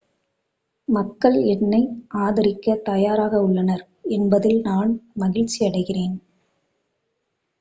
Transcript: மக்கள் என்னை ஆதரிக்க தயாராக உள்ளனர் என்பதில் நான் மகிழ்ச்சியடைகிறேன்